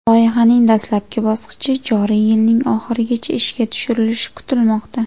Loyihaning dastlabki bosqichi joriy yilning oxirigacha ishga tushirilishi kutilmoqda.